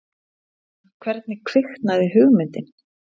En hvernig kviknaði hugmyndin?